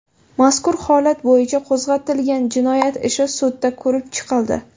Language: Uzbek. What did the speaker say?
Mazkur holat bo‘yicha qo‘zg‘atilgan jinoyat ishi sudda ko‘rib chiqildi.